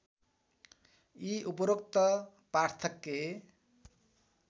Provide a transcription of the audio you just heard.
यी उपरोक्त पार्थक्य